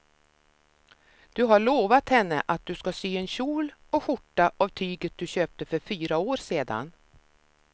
Du har lovat henne att du ska sy en kjol och skjorta av tyget du köpte för fyra år sedan.